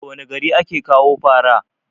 daga wane gari ake kawo fara?